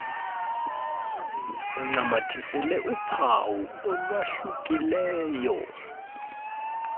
uncamathisele uphawu olwahlukileyo